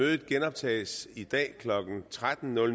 det genoptages i dag klokken tretten og